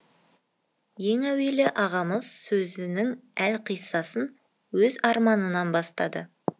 ең әуелі ағамыз сөзінің әлқиссасын өз арманынан бастады